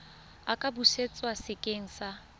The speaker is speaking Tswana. a ka busetswa sekeng sa